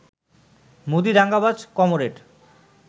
মোদি দাঙ্গাবাজ কমরেড।